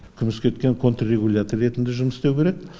күміскеткен контррегулятор ретінде жұмыс істеу керек